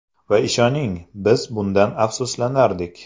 Va ishoning, biz bundan afsuslanardik.